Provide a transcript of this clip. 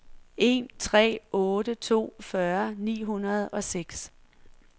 en tre otte to fyrre ni hundrede og seks